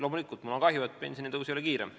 Loomulikult on mul kahju, et pensionitõus ei ole kiirem.